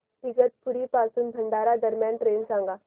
इगतपुरी पासून भंडारा दरम्यान ट्रेन सांगा